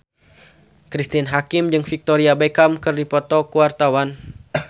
Cristine Hakim jeung Victoria Beckham keur dipoto ku wartawan